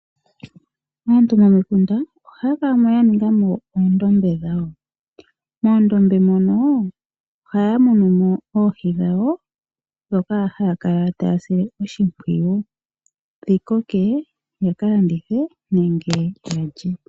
Aantu momikunda ohaya kala mo ya ninga mo oondombe dhawo. Moondombe mono ohaya munu mo oohi dhawo ndhono haya kala taya sile oshimpwiyu dhi koke yaka landithe nenge ya lye.